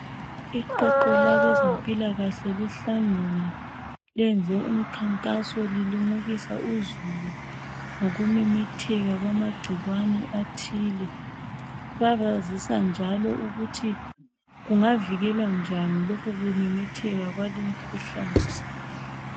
Iqoqo labezempilakahle lihlangene .Lenze umkhankaso lilimukisa uzulu ngokumemetheka kwamagcikwane athile. Babazisa njalo ukuthi kungavikelwa njani lokhu kumemetheka kwali mkhuhlane .